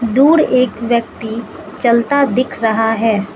दूर एक व्यक्ति चलता दिख रहा है।